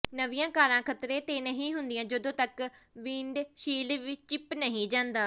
ਨਵੀਆਂ ਕਾਰਾਂ ਖ਼ਤਰੇ ਤੇ ਨਹੀਂ ਹੁੰਦੀਆਂ ਜਦੋਂ ਤੱਕ ਵਿੰਡਸ਼ੀਲਡ ਚਿੱਪ ਨਹੀਂ ਜਾਂਦਾ